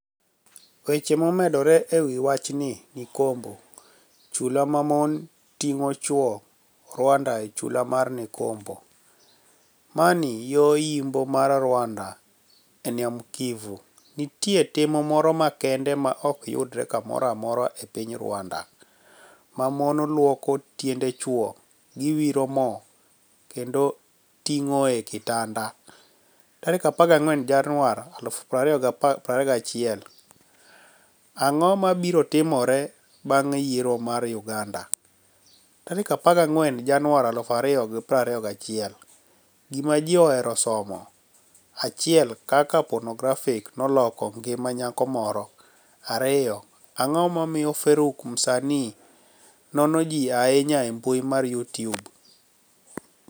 Weche momedore e wi wachnii nikombo: Chula ma moni tinig'o chwo Rwanida e chula mar nikombo, mani yo yimbo mar Rwanida e niam Kivu, niitie tim moro makenide ma ok yudre kamoro amora e piniy Rwanida, ma moni lwoko tienide chwogi, giwiro mo, kenido tinig'ogi e kitanida. 14 Janiuar 2021 Anig'o mabiro timore banig' yiero mar Uganida? 14 Janiuar 2021 Gima Ji Ohero Somo 1 Kaka Ponografi noloko nigima niyako Moro 2 Anig'o momiyo Faruk Msanii nono ji ahiniya e mbui mar utube?